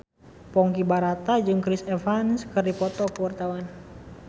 Ponky Brata jeung Chris Evans keur dipoto ku wartawan